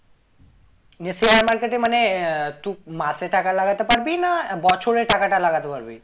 নিয়ে share market এ মানে আহ তুই মাসে টাকা লাগাতে পারবি না বছরে টাকাটা লাগাতে পারবি